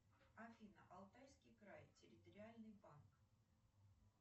афина алтайский край территориальный банк